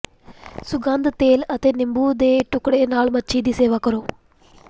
ਸੁਗੰਧਤ ਤੇਲ ਅਤੇ ਨਿੰਬੂ ਦੇ ਟੁਕੜੇ ਨਾਲ ਮੱਛੀ ਦੀ ਸੇਵਾ ਕਰੋ